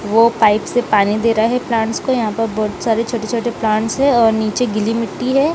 वो पाइप से पानी दे रहा है प्लांट्स को यहां पर बहुत सारे छोटे-छोटे प्लांट्स है और नीचे गीली मिट्टी है।